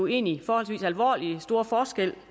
egentlig forholdsvis alvorlig store forskel